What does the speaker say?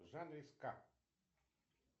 в жанре ска